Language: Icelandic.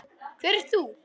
Hver ert þú?